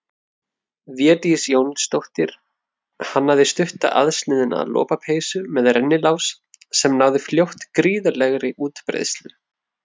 Védís Jónsdóttir hannaði stutta aðsniðna lopapeysu með rennilás sem náði fljótt gríðarlegri útbreiðslu.